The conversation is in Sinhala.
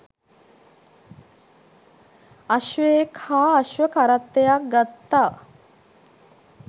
අශ්වයෙක් හා අශ්ව කරත්තයක් ගත්තා